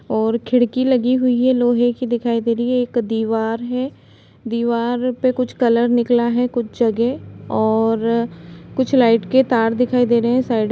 और खिड़की लगी हुई है लोहे कि दिखाई दे रही है एक दीवार है दीवार पे कुछ कलर निकला है कुछ जगह और कुछ लाइट के तार दिखाई दे रहे है साइड --